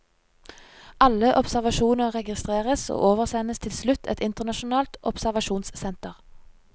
Alle observasjoner registreres, og oversendes til slutt et internasjonalt observasjonssenter.